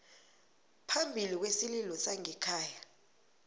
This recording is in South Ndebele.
phambili kwesililo sangekhaya